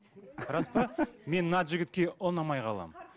рас па мен мына жігітке ұнамай қаламын